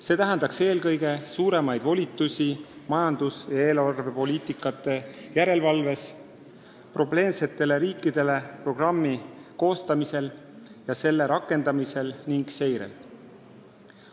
See tähendaks eelkõige suuremaid volitusi majandus- ja eelarvepoliitika järelevalves, probleemsetele riikidele programmi koostamisel ja selle rakendamisel ning seireid.